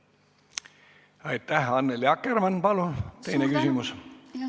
Annely Akkermann, palun teine küsimus!